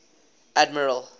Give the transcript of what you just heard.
admiral